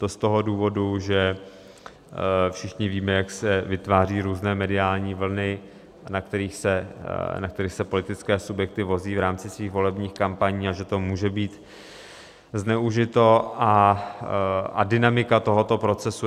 To z toho důvodu, že všichni víme, jak se vytváří různé mediální vlny, na kterých se politické subjekty vozí v rámci svých volebních kampaní, a že to může být zneužito, a dynamika tohoto procesu.